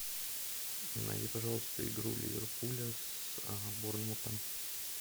найди пожалуйста игру ливерпуля с борнмутом